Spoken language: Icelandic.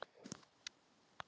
Undir það má taka.